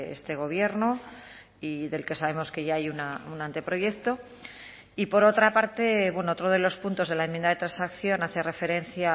este gobierno y del que sabemos que ya hay un anteproyecto y por otra parte otro de los puntos de la enmienda de transacción hace referencia